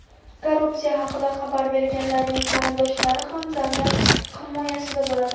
Korrupsiya haqida xabar berganlarning qarindoshlari ham davlat himoyasida bo‘ladi.